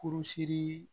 Kurusi